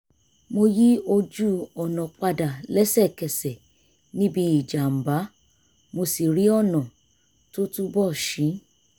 mo yí ojú-ọ̀nà padà lẹ́sẹ̀kẹsẹ̀ níbi ìjàm̀bá mo sì rí ọ̀nà tó túbọ̀ ṣí